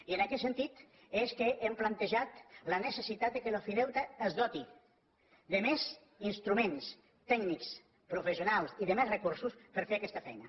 i és en aquest sentit que hem plantejat la necessitat que l’ofideute es doti de més instruments tècnics professionals i de més recursos per fer aquesta feina